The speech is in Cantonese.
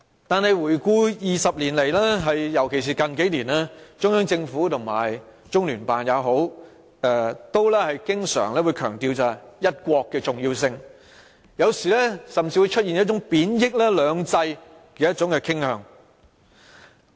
但是，過去20年來，尤其是近年，中央政府或中聯辦經常強調"一國"的重要性，有時甚至出現貶抑"兩制"傾向。